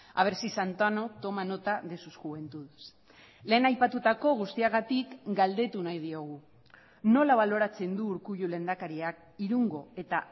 a ver si santano toma nota de sus juventudes lehen aipatutako guztiagatik galdetu nahi diogu nola baloratzen du urkullu lehendakariak irungo eta